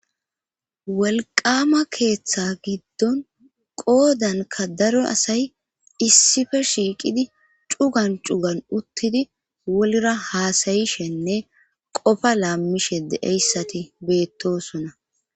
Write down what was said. Wolwaama keetha giddon qoodankka daro asay issife shiiqidi cugan cugan uttidi woliora haasayishenne qofa laammishe de7eyssati beettoosona.